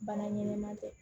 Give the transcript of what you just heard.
Baara ɲɛnɛman tɛ